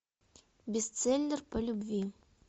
бестселлер по любви